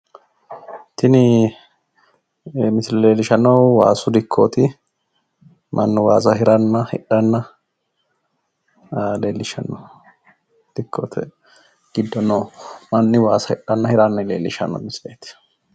Tini misile leellishshannohu waasu dikkooti, mannu waasa hiranna hidhanna leellishshanno. dikkote giddo noo manni waasa hidhanna hiranna leellishanno misileeti.